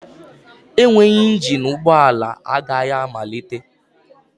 Enweghị engine ụgbọ ala agaghị amalite